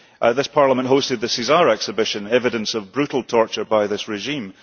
This Parliament hosted the Caesar exhibition, evidence of brutal torture by this regime.